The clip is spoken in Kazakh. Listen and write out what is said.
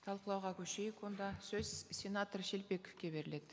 талқылауға көшейік онда сөз сенатор шелпековке беріледі